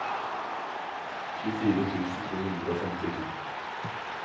tjuefire tusen to hundre og femtito